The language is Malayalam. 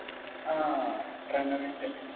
ആഹ് പ്രണവിന്റെ